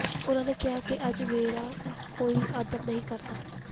ਉਨ੍ਹਾਂ ਨੇ ਕਿਹਾ ਕਿ ਅੱਜ ਮੇਰਾ ਕੋਈ ਆਦਰ ਨਹੀਂ ਕਰਦਾ